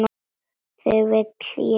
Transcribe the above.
Þig vil ég ekki missa.